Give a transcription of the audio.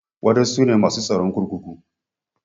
Wada sune masu tsaron kurkuku.